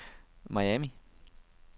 Miami